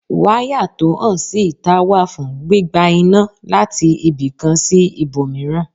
Wáyà tó hàn sí ìtà wà fún gbígba iná láti ibìkan sí ibòmíràn.